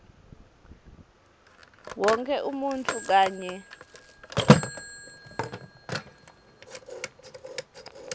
wonkhe umuntfu kanye